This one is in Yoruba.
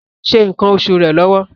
Ṣadė ń ṣe nǹkan oṣù rẹ̀ lọ́wọ́.